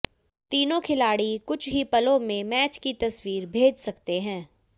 तीनों खिलाड़ी कुछ ही पलों में मैच की तस्वीर भेज सकते हैं